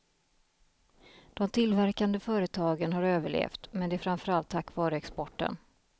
De tillverkande företagen har överlevt, men det är framför allt tack vare exporten.